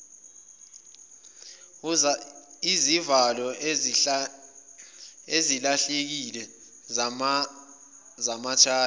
izivalo ezilahlekile zamathayi